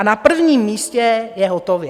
A na prvním místě je hotově.